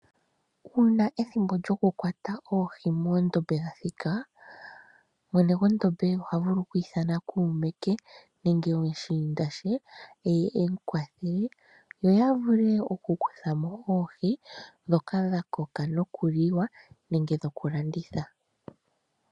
Uuna ethimbo lyokukwata oohi moondombe lyathika, mwene gwondombe oha vulu oku ithana kuume ke, nenge omushiinda she, eye e mu kwathele yo ya vule okukutha mo oohi ndhoka dha koka nokuliwa nenge nokulanditha.